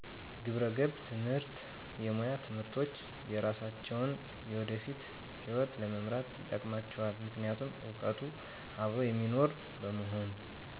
ግብረገብ ትምህርት የሙያ ትምህርቶች የሰራሳቸውን የወደፊት ሕይወት ለመምራት ይጠቅማቸዋል ምክንያቱም እውቀቱ አብሮ የሚኖር በመሆኑ